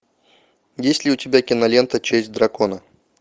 есть ли у тебя кинолента честь дракона